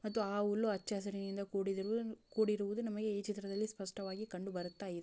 ಮತ್ತು ಆ ಉಲ್ಲು ಅಚ್ಚಾ ಅಸಿರಿನಿಂದ ಕೂಡಿರ್ ಕೂಡಿರುವುದು ನಮಗೆ ಈ ಚಿತ್ರದಲ್ಲಿ ಸ್ಪಷ್ಟವಾಗಿ ಕಂಡುಬರುತ್ತಾಯಿದೆ.